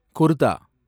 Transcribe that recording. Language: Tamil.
குர்தா